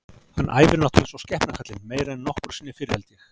Hann æfir náttúrulega eins og skepna kallinn, meira en nokkru sinni fyrr held ég.